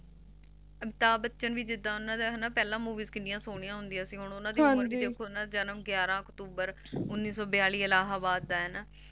Amitabh Bachchan ਵੀ ਜਿੱਦਾ ਓਹਨਾ ਦੀ ਪਹਿਲਾ Movie ਕਿੰਨੀਆ ਸੋਹਣੀ ਹੁੰਦੀ ਸੀ ਹੁਣ ਓਹਨਾਂ ਦਾ ਜਨਮ ਗਿਆਰਹ ਅਕਤੂਬਰ ਉੱਨੀ ਸੌ ਬਿਆਲੀ ਇੱਲਾਹਬਾਦ ਦਾ ਹੈ ਹੈਨਾ